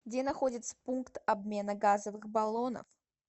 где находится пункт обмена газовых баллонов